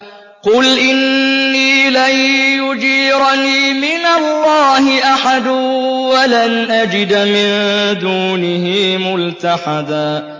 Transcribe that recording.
قُلْ إِنِّي لَن يُجِيرَنِي مِنَ اللَّهِ أَحَدٌ وَلَنْ أَجِدَ مِن دُونِهِ مُلْتَحَدًا